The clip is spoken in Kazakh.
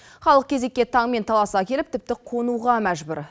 халық кезекке таңмен таласа келіп тіпті қонуға мәжбүр